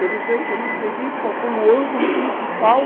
Eu não sei, eu não entendi qual foi o ângulo principal.